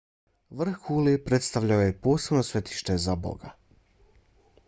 vrh kule predstavljao je posebno svetište za boga